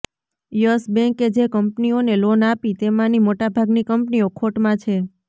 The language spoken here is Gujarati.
યસ બેંકે જે કંપનીઓને લોન આપી તેમાની મોટાભાગની કંપનીઓ ખોટમાં છે